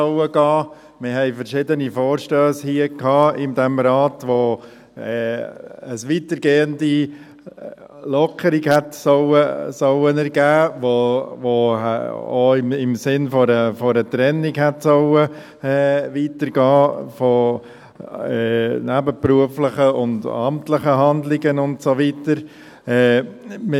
Wir hatten verschiedene Vorstösse hier im Rat, die eine weitergehende Lockerung hätten ergeben sollen, die auch im Sinne einer Trennung von nebenberuflichen und amtlichen Handlungen und so weiter hätten weitergehen sollen.